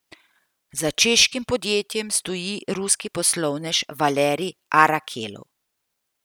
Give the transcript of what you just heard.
Za češkim podjetjem stoji ruski poslovnež Valerij Arakelov.